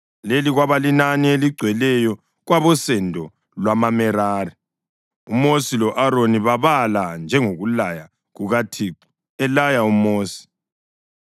Leli kwaba linani eligcweleyo kwabosendo lwamaMerari. UMosi lo-Aroni babala njengokulaya kukaThixo elaya uMosi.